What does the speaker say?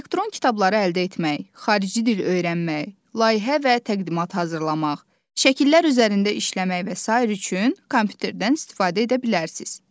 Elektron kitabları əldə etmək, xarici dil öyrənmək, layihə və təqdimat hazırlamaq, şəkillər üzərində işləmək və sair üçün kompüterdən istifadə edə bilərsiniz.